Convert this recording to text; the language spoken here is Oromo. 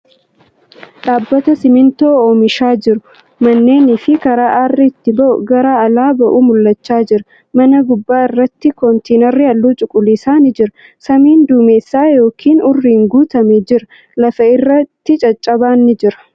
Dhaabbata simintoo oomishaa jiru. Manneeni fi karaa aarri ittiin gara alaa ba'u mul'achaa jira. Mana gubbaa irratti kontiinarri halluu cuquliisaa ni jira. Samiin duumessa yookiin urriin guutamee jira. Lafa irratti caccabaan ni jira.